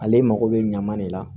Ale mako bɛ ɲama de la